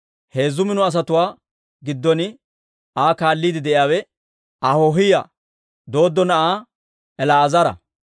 Heezzu mino asatuwaa giddon Aa kaalliide de'iyaawe Ahoohiyaa Dooddo na'aa El"aazara.